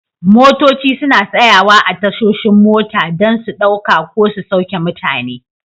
Motoci suna tsayawa a tashoshin mota don su ɗauka ko su sauke mutane.